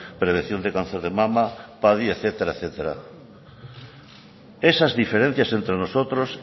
prevención de cáncer de mama padi etcétera esas diferencias entre nosotros